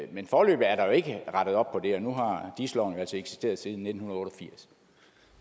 men foreløbig er der jo ikke rettet op på det og nu har dis loven altså eksisteret siden nitten